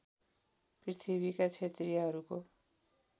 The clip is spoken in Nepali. पृथ्वीका क्षेत्रीहरूको